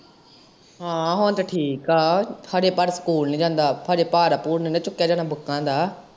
ਹਾਂ ਹੁਣ ਤੇ ਠੀਕ ਆ, ਹਜੇ ਪਰ ਸਕੂਲ ਨੀ ਜਾਂਦਾ, ਹਜੇ ਪਾਰ ਪੂਰ ਨੀ ਨਾ ਚੁੱਕਿਆ ਜਾਂਦਾ ਬੂਕਾਂ ਦਾ।